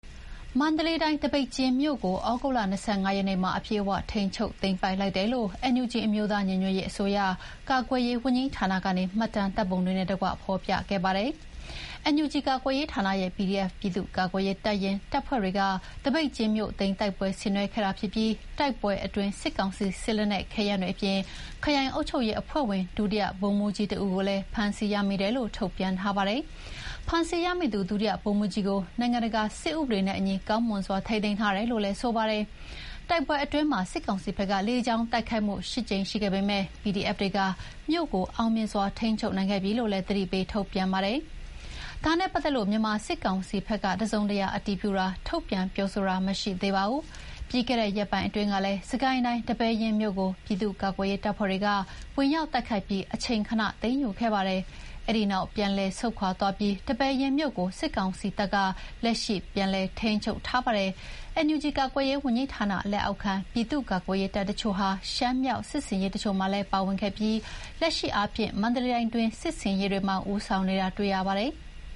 မန္တလေးတိုင်း သပိတ်ကျင်းမြို့ကို ဩဂုတ်လ ၂၅ ရက်နေ့မှာ အပြည့်အဝ ထိန်းချုပ်သိမ်းပိုက်လိုက်တယ် လို့ NUG အမျိုးသားညီညွတ်ရေးအစိုးရ ကာကွယ်ရေးဝန်ကြီးဌာနကနေ မှတ်တမ်းဓါတ်ပုံတွေနဲ့တကွ ဖော်ပြခဲ့ပါတယ်။ NUG ကာကွယ်ရေးဌာနရဲ့ PDF ပြည့်သူ့ကာကွယ်ရေးတပ်ရင်း တပ်ဖွဲ့တွေက သပိတ်ကျင်းမြို့သိမ်း တိုက်ပွဲဆင်နွှဲခဲ့တာဖြစ်ပြီး တိုက်ပွဲအတွင်း စစ်ကောင်စီ စစ်လက်နက်ခဲယမ်းတွေအပြင် ခရိုင်အုပ်ချုပ်ရေးအဖွဲ့ဝင် ဒုတိယဗိုလ်မှူးကြီးတဦးကိုလည်း ဖမ်းဆီးရမိတယ်လို့ ထုတ်ပြန်ထားပါတယ်။ ဖမ်းဆီးရမိသူ ဒုတိယဗိုလ်မှူးကြီးကို နိုင်ငံတကာစစ်ဥပဒေနဲ့အညီကောင်းမွန်စွာ ထိန်းသိမ်းထားတယ် လို့လည်း ဆိုပါတယ်။ တိုက်ပွဲအတွင်းမှာ စစ်ကောင်စီဘက်က လေကြောင်းတိုက်ခိုက်မှု ၈ ကြိမ်ရှိခဲ့ ပေမယ့် PDF တွေက မြို့ကို အောင်မြင်စွာထိန်းချုပ်နိုင်ခဲ့ပြီလို့လည်း အသိပေးထုတ်ပြန်ပါတယ်။ ဒါနဲ့ပတ်သက်လို့ မြန်မာစစ်ကောင်စီဘက်က တစုံတရာ အတည်ပြုတာ၊ ထုတ်ပြန်ပြောဆိုတာ မရှိသေးပါဘူး။ ပြီးခဲ့တဲ့ရက်ပိုင်းအတွင်းကလည်း စစ်ကိုင်းတိုင်း ဒီပဲယင်းမြို့ကို ပြည်သူ့ကာကွယ်ရေးတပ်ဖွဲ့တွေက ဝင်ရောက်တိုက်ခိုက်ပြီး အချိန်ခဏ သိမ်းယူခဲ့ပါတယ်။ အဲဒီနောက် ပြန်လည်ဆုတ်ခွာသွားပြီး ဒီပဲယင်းမြို့ကို စစ်ကောင်စီတပ်က လက်ရှိပြန်လည်ထိန်းချုပ်ထားပါတယ်။ NUG ကာကွယ်ရေး ဝန်ကြီးဌာနလက်အောက်ခံ ပြည်သူ့ကာကွယ်ရေးတပ်တချို့ဟာရှမ်းမြောက်စစ်ဆင်ရေးတချို့မှာလည်း ပါဝင်ခဲ့ပြီး လက်ရှိအားဖြင့် မန္တလေးတိုင်းတွင်း စစ်ဆင်ရေးတွေမှာ ဦးဆောင်နေတာတွေ့ ရပါတယ်။